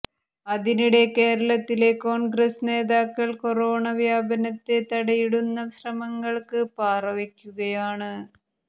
അതിനിടെ കേരളത്തിലെ കോൺഗ്രസ് നേതാക്കൾ കൊറോണ വ്യാപനത്തെ തടയിടുന്ന ശ്രമങ്ങൾക്ക് പാറ വെക്കുകയാണ്